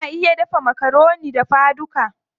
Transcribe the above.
Ana iya dafa makaroni dafa duka.